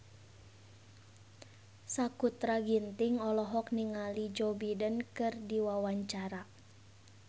Sakutra Ginting olohok ningali Joe Biden keur diwawancara